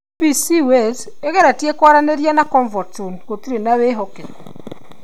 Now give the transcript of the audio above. BBC Wales igeretia kwaranĩria na ComfortZone gũtirĩ na ũhokeku